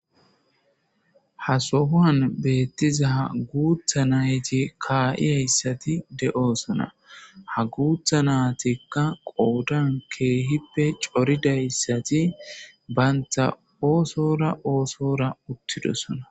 Ha sohowan betizaysi guuththa nayta uttidays beteseHa gutha natika .wodiyan Kehipe Coridaysati Banta Utidosona